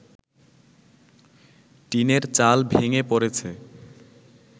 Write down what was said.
টিনের চাল ভেঙে পড়েছে